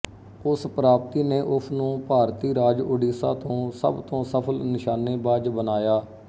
ਉਸ ਪ੍ਰਾਪਤੀ ਨੇ ਉਸ ਨੂੰ ਭਾਰਤੀ ਰਾਜ ਉੜੀਸਾ ਤੋਂ ਸਭ ਤੋਂ ਸਫਲ ਨਿਸ਼ਾਨੇਬਾਜ਼ ਬਣਾਇਆ